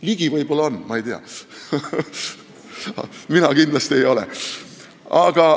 Ligi võib-olla on, ma ei tea, mina kindlasti ei ole.